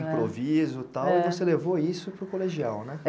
improviso, tal, e você levou isso para o colegial, né?